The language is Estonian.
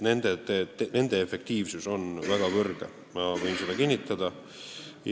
Nende programmide efektiivsus on väga kõrge, ma võin seda kinnitada.